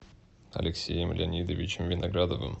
алексеем леонидовичем виноградовым